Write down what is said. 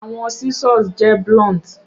Awọn scissors jẹ blunt